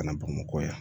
Kana bamakɔ yan